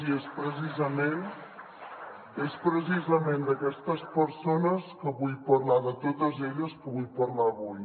i és precisament és precisament d’aquestes persones que vull parlar de totes elles que vull parlar avui